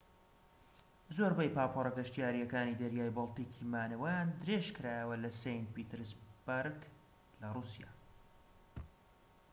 زۆربەی پاپۆرە گەشتیاریەکانی دەریای بەلتیکی مانەوەیان درێژکرایەوە لە سەینت پیتەرسبەرگ لە رووسیا